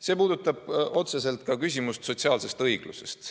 See puudutab otseselt ka küsimust sotsiaalsest õiglusest.